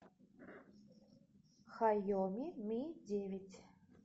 хайоми ми девять